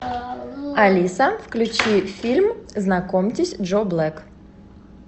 алиса включи фильм знакомтесь джо блэк